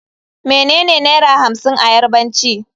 Menene Naira hamsin a Yarbanci.